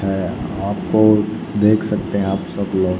है आपको देख सकते हैं आप सब लोग--